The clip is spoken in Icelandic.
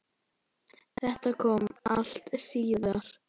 Þetta kom allt síðar.